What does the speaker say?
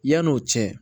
Yan'o cɛ